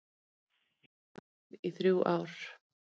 Hafði varað við í þrjú ár